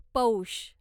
पौष